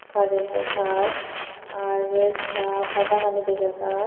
Karento tar ar sapadagani dega jaar.